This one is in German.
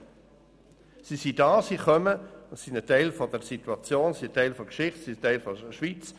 Sie sind hier, sie kommen, und sie sind Teil der Situation, der Geschichte und der Schweiz.